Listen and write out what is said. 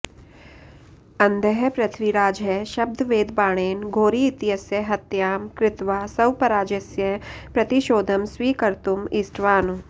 अन्धः पृथ्वीराजः शब्दवेधबाणेन घोरी इत्यस्य हत्यां कृत्वा स्वपराजयस्य प्रतिशोधं स्वीकर्तुम् इष्टवान्